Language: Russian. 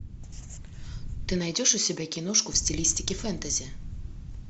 ты найдешь у себя киношку в стилистике фэнтези